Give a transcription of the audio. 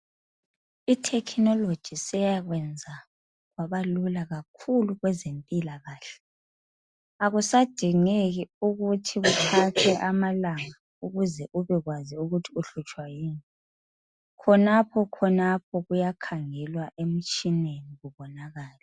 Ithekhinoloji seyakwenza kwabalula kakhulu kwezempilakahle. Akusadingeki ukuthi kuthathe amalanga ukuze ubekwazi ukuthi uhlutshwa yini, khonaphokhonapho kuyakhangelwa emtshineni kubonakale.